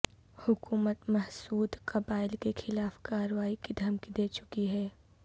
حکومت محسود قبائل کے خلاف کارروائی کی دھمکی دے چکی ہے